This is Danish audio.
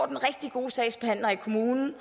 den rigtig gode sagsbehandler i kommunen